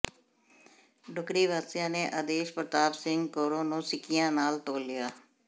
ਡੁਗਰੀ ਵਾਸੀਆਂ ਨੇ ਆਦੇਸ਼ ਪ੍ਰਤਾਪ ਸਿੰਘ ਕੈਰੋਂ ਨੂੰ ਸਿੱਕਿਆਂ ਨਾਲ ਤੋਲਿਆ